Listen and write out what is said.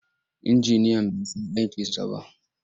Injiniyan bai san aikinsa ba.